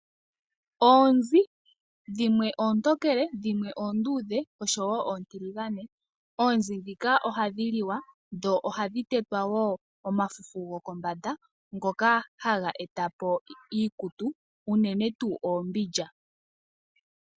Oonzi, dhimwe oontokele, dhimwe oonduudhe, osho wo oontiligane. Oonzi ndhika ohadhi liwa, dho ohadhi tetwa wo omafufu gokombanda ngoka haga eta po iikutu, unene tuu oombindja.